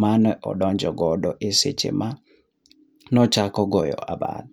manodonjo godo seche mane ochako go abal.